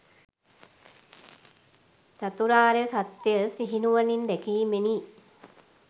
චතුරාර්ය සත්‍යය සිහිනුවණින් දැකීමෙනි.